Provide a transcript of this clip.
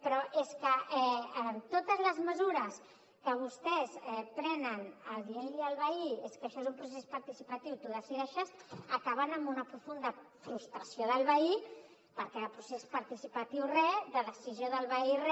però és que totes les mesures que vostès prenen dient li al veí és que això és un procés participatiu tu decideixes acaben amb una profunda frustració del veí perquè de procés participatiu re de decisió del veí re